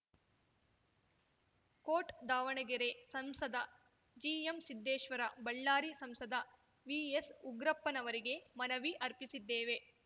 coat Davanagere ಸಂಸದ ಜಿಎಂಸಿದ್ದೇಶ್ವರ ಬಳ್ಳಾರಿ ಸಂಸದ ವಿಎಸ್‌ಉಗ್ರಪ್ಪನವರಿಗೆ ಮನವಿ ಅರ್ಪಿಸಿದ್ದೇವೆ